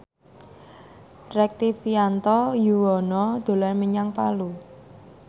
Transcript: Rektivianto Yoewono dolan menyang Palu